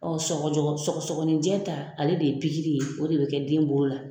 sɔgɔjɔgɔ sɔgɔsɔgɔnin jɛ ta ale de ye pikiri ye o de bɛ kɛ den bolo la.